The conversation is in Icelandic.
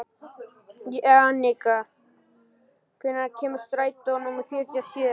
Jannika, hvenær kemur strætó númer fjörutíu og sjö?